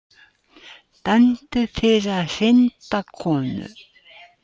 Dæmdur fyrir að hrinda konu